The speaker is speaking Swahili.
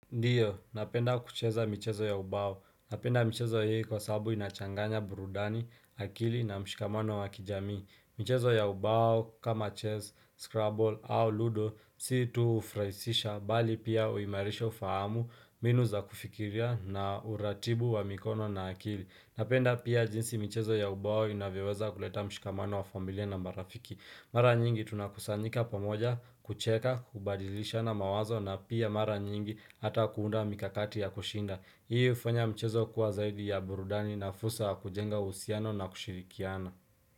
Ndiyo, napenda kucheza michezo ya ubao. Napenda michezo hii kwa sababu inachanganya burudani, akili na mshikamano wa kijamii. Michezo ya ubao kama chess, scramble au ludo si tu hufurahisisha mbali pia huimarisha ufahamu mbinu za kufikiria na uratibu wa mikono na akili. Napenda pia jinsi michezo ya ubao inavyoweza kuleta mshikamano wa familia na marafiki. Mara nyingi tunakusanyika pamoja, kucheka, kubadilishana mawazo na pia mara nyingi hata kuunda mikakati ya kushinda. Hii hufanya mchezo kuwa zaidi ya burudani na fursa kujenga uhusiano na kushirikiana.